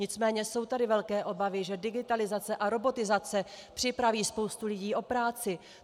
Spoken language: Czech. Nicméně jsou tady velké obavy, že digitalizace a robotizace připraví spoustu lidí o práci.